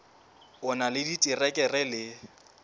o na le diterekere le